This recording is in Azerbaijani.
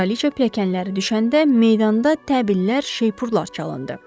Kraliça pilləkənləri düşəndə meydanda təbillər, şeypurlar çalındı.